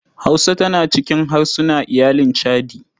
Hausa tana cikin harsuna iyalin chadi.